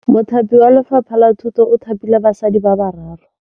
Mothapi wa Lefapha la Thutô o thapile basadi ba ba raro.